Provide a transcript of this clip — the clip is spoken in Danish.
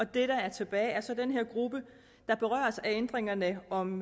det der er tilbage er så denne gruppe der berøres af ændringerne om